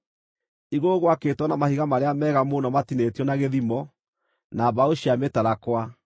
Igũrũ gwakĩtwo na mahiga marĩa mega mũno matinĩtio na gĩthimo, na mbaũ cia mĩtarakwa.